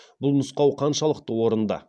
бұл нұсқау қаншалықты орынды